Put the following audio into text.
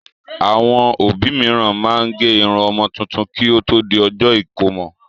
Àwọn òbí mìíràn máa ń gé irun ọmọ tuntun kí ó tó di ọjọ́ ìkómọ